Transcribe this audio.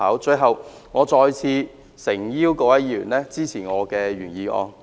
最後，我再次誠邀各位議員支持我的原議案。